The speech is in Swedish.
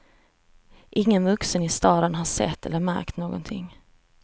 Ingen vuxen i staden har sett eller märkt någonting.